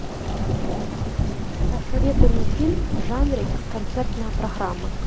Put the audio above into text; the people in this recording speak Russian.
посоветуй мне фильм в жанре концертная программа